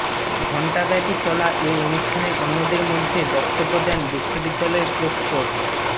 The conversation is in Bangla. ঘণ্টাব্যাপী চলা এ অনুষ্ঠানে অন্যদের মধ্যে বক্তব্য দেন বিশ্ববিদ্যালয়ের প্রক্টর ড